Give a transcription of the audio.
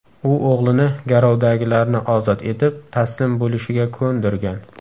U o‘g‘lini garovdagilarni ozod etib, taslim bo‘lishiga ko‘ndirgan.